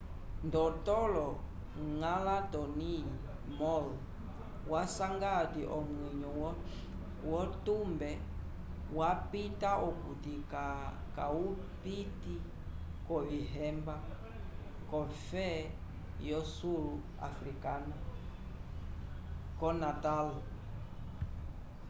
ndotolo ngãla tony moll wasanga ati o veyo wotumbe wapita okuti cawpiti lovihemba kofe yo sul africana k natal